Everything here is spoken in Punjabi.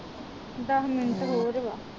ਦਸ ਮਿੰਟ ਹੋਰ ਵਾ